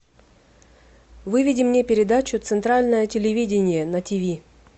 выведи мне передачу центральное телевидение на тв